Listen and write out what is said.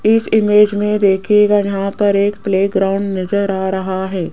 इस में देखिएगा यहां पर एक प्ले ग्राउंड नजर आ रहा है।